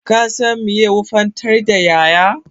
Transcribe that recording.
Ka san meye wofantar da ƴaƴa